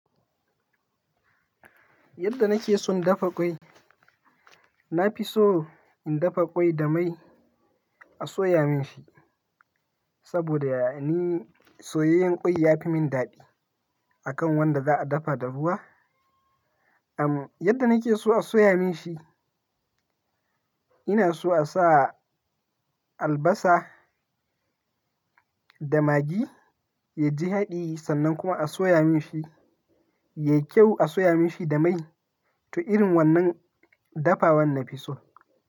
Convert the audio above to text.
Yadda nake son dafa ƙwai, na fi so in dafa ƙwai da mai a soya min shi. Saboda yani soyayyen ƙwai ya fi min daɗi akan wanda za a dafa da ruwa. Am yadda nake so a soya min shi, ina so a sa albasa da magi yaji haɗi sannan kuma a soya min shi. Yai kyau a soya min shi da mai. To irin wannan dafawan na fi so.